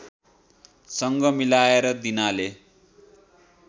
सँग मिलाएर दिनाले